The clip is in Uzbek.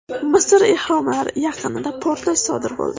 Misr ehromlari yaqinida portlash sodir bo‘ldi.